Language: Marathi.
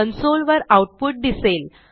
कन्सोल वर आऊटपुट दिसेल